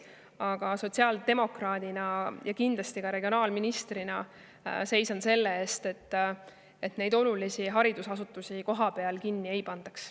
Aga sotsiaaldemokraadina ja kindlasti ka regionaalministrina seisan ma selle eest, et olulisi haridusasutusi kohapeal kinni ei pandaks.